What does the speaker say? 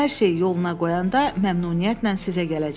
Hər şeyi yoluna qoyanda məmnuniyyətlə sizə gələcəm.